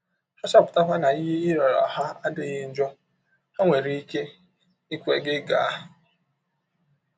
Ha chọpụtakwa na ihe ị rịọrọ ha adịghị njọ, ha nwere ike ikwe gị gaa.